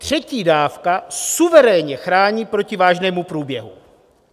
Třetí dávka suverénně chrání proti vážnému průběhu.